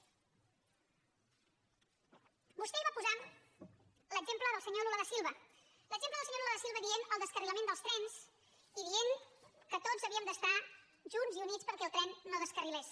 vostè ahir va posar l’exemple del senyor lula da silva l’exemple del senyor lula da silva dient el descarrilament dels trens i dient que tots havíem d’estar junts i units perquè el tren no descarrilés